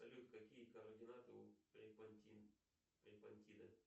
салют какие координаты у